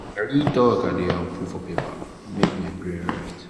na real talk i dey um put for paper um make my brain for rest.